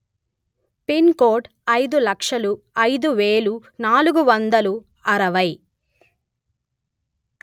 pin code అయిదు లక్షలు అయిదు వెలు నాలుగు వందలు అరవై